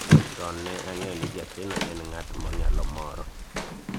chon ne ang'eyo ni jakeno en ng'at monyalo moro